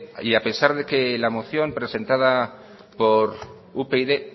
y a pesar de que la moción presentada por upyd